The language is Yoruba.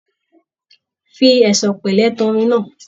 Fi ẹ̀sọ̀ pẹlẹ tán orin náà.